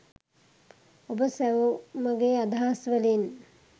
ඔබ සැවොමගේ අදහස් වලින්